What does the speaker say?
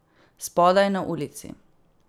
Spodaj, na ulici.